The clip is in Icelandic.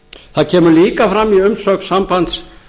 það kemur líka fram í umsögn sambands